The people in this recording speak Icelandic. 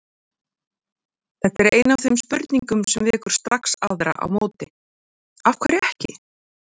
Þetta er ein af þeim spurningum sem vekur strax aðrar á móti: Af hverju ekki?